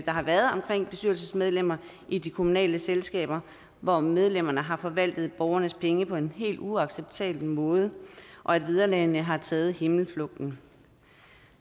har været omkring bestyrelsesmedlemmer i de kommunale selskaber hvor medlemmerne har forvaltet borgernes penge på en helt uacceptabel måde og at vederlagene har taget himmelflugten